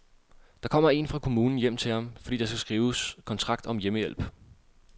Der kommer én fra kommunen hjem til ham, fordi der skal skrives kontrakt om hjemmehjælp.